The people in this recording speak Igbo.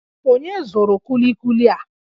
Onye zụrụ kulikuli a?